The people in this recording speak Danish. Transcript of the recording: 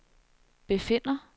befinder